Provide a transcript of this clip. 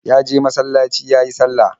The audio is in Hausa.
Ya je masalaci yayi sallah.